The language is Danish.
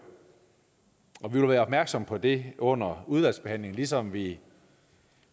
og vi vil være opmærksom på det under udvalgsbehandlingen ligesom vi